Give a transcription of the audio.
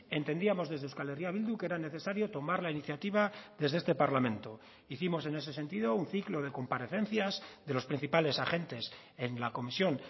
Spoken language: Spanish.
entendíamos desde euskal herria bildu que era necesario tomar la iniciativa desde este parlamento hicimos en ese sentido un ciclo de comparecencias de los principales agentes en la comisión